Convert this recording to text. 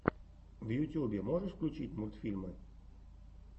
в ютюбе можешь включить мультфильмы